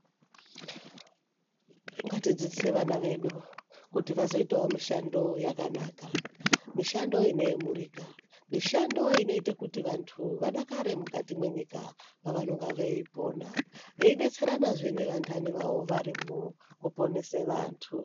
Ngatidzidzise vana vedu kuti vazoitawo mishando yakanaka mishando inoyemurika mishando inoite kuti vanthu vadakare mukati mwenyika pavanonge veipona veidetseranawo nevantani vavo varipoo kuponese vanthu.